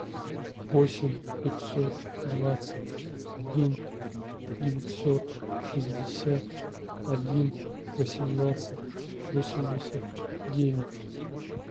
восемь пятьсот двадцать один девятьсот шестьдесят один восемнадцать восемьдесят девять